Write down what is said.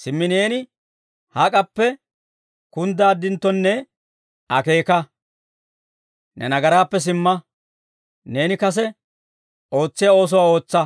Simmi neeni hak'appe kunddaaddintto akeeka. Ne nagaraappe simma; neeni kase ootsiyaa oosuwaa ootsa.